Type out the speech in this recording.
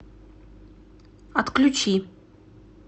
отключи